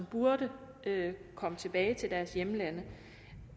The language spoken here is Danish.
burde komme tilbage til deres hjemlande